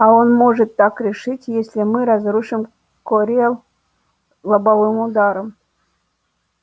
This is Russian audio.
а он может так решить если мы разрушим корел лобовым ударом